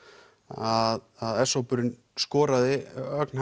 að s hópurinn skoraði ögn